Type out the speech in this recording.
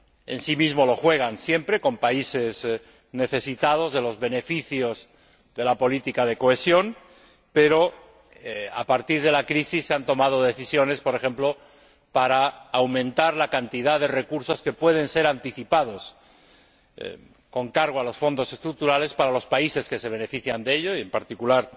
en sí mismos lo juegan siempre con países necesitados de los beneficios de la política de cohesión, pero a partir de la crisis se han tomado decisiones, por ejemplo, para aumentar la cantidad de recursos que se pueden anticipar con cargo a los Fondos Estructurales para los países que se benefician de ello y, en particular,